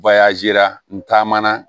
n taamana